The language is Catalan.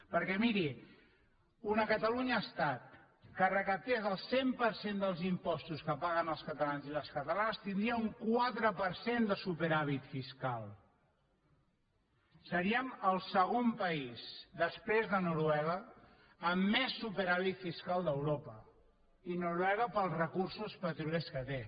perquè miri una catalunya estat que recaptés el cent per cent dels impostos que paguen els catalans i les catalanes tindria un quatre per cent de superàvit fiscal seríem el segon país després de noruega amb més superàvit fiscal d’europa i noruega pels recursos petroliers que té